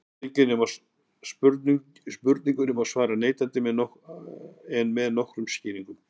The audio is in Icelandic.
spurningunni má svara neitandi en með nokkrum skýringum